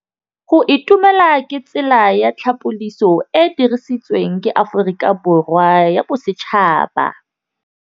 Go itumela ke tsela ya tlhapolisô e e dirisitsweng ke Aforika Borwa ya Bosetšhaba.